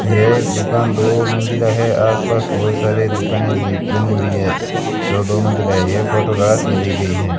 यह दुकान दो मंजिला है आसपास बहुत सारे दुकानें भी बनी हुई हैं जो दो मंजिला है ये फोटो रात में ली गई है।